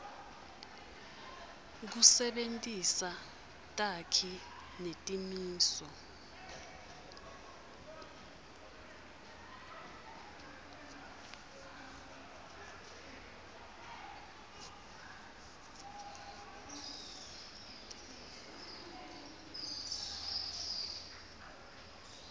kusebentisa takhi netimiso